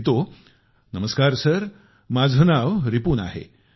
तो लिहितो नमस्कार सर माझे नाव रिपुन आहे